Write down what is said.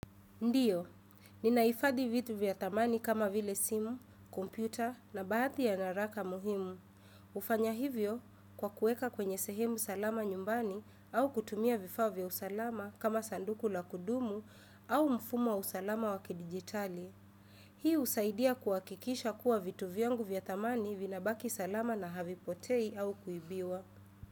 Ndiyo, ninaifadhi vitu vya thamani kama vile simu, kompyuta na baathi ya naraka muhimu. Ufanya hivyo kwa kuweka kwenye sehemu salama nyumbani au kutumia vifaa vya usalama kama sanduku la kudumu au mfumo wa usalama wa kidijitali. Hii husaidia kwa kikisha kuwa vitu vyangu vya thamani vinabaki salama na havipotei au kuibiwa.